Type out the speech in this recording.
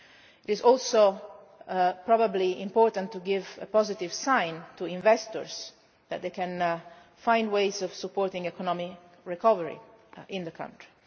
It is probably also important to give a positive sign to investors, so that they can find ways of supporting economic recovery in the country.